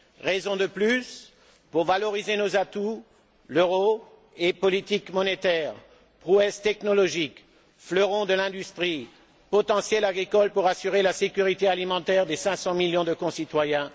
Raison de plus pour valoriser nos atouts euro et politique monétaire, prouesses technologiques, fleurons de l'industrie, potentiel agricole pour assurer la sécurité alimentaire de nos 500 millions de concitoyens.